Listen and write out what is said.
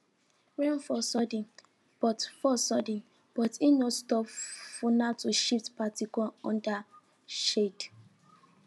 rain fall sudden but fall sudden but e no stop funna to shift party go under shade